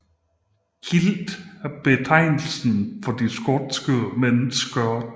Kilt er betegnelsen for de skotske mænds skørt